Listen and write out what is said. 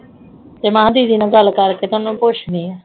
ਤੇ ਮਹੇ ਦੀਦੀ ਨਾਲ ਗੱਲ ਕਰਕੇਤੇ ਓਹਨਾ ਨੂੰ ਪੁੱਛਦੀ ਆ.